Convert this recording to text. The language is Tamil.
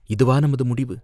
இதுவா நமது முடிவு?